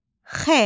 X.